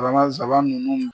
saban nunnu.